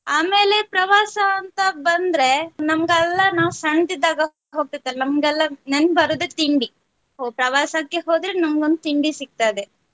ಆಮೇಲೆ ಪ್ರವಾಸ ಅಂತ ಬಂದ್ರೆ ನಮಗೆಲ್ಲ ನಾವ್ ಸಣ್ಣದಿದ್ದಾಗ ಹೋಗ್ತಾಯಿದ್ದ ನಮಗೆಲ್ಲ ನೆನಪು ಬರುದು ತಿಂಡಿ ಪ್ರವಾಸಕ್ಕೆ ಹೋದ್ರೆ ನಮಗೊಂದು ತಿಂಡಿ ಸಿಗತ್ತದೆ.